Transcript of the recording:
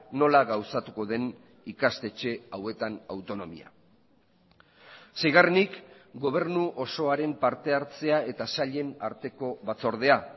nola gauzatuko den ikastetxe hauetan autonomia seigarrenik gobernu osoaren parte hartzea eta sailen arteko batzordea